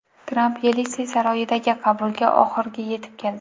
Tramp Yelisey saroyidagi qabulga oxirgi yetib keldi.